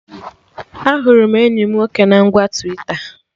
Ahụrụ m enyi mụ nwoke na ngwa Twita